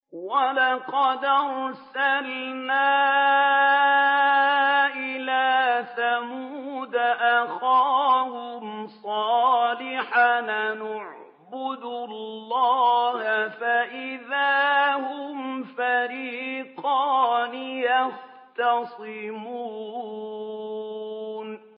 وَلَقَدْ أَرْسَلْنَا إِلَىٰ ثَمُودَ أَخَاهُمْ صَالِحًا أَنِ اعْبُدُوا اللَّهَ فَإِذَا هُمْ فَرِيقَانِ يَخْتَصِمُونَ